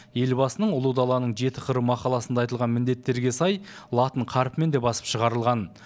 елбасының ұлы даланың жеті қыры мақаласында айтылған міндеттерге сай латын қарпімен де басып шығарылған